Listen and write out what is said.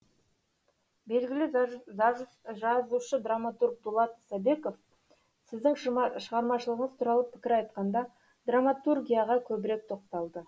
белгілі жазушы драматург дулат исабеков сіздің шығармашылығыңыз туралы пікір айтқанда драматургияға көбірек тоқталды